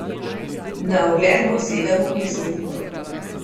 Na ogled bo sedem uprizoritev.